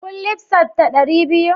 Kun lissafta dari biyu?